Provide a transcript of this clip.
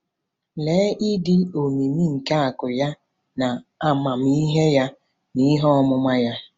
“Lee ịdị omimi nke akụ̀ ya na amamihe ya na ihe ọmụma ya!